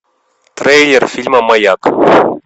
трейлер фильма маяк